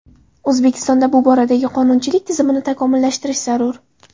O‘zbekistonda bu boradagi qonunchilik tizimini takomillashtirish zarur.